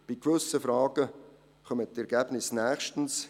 Zu gewissen Fragen kommen die Ergebnisse nächstens;